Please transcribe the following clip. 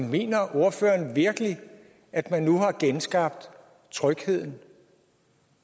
mener ordføreren virkelig at man nu har genskabt trygheden